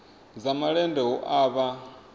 dza malende hu a vha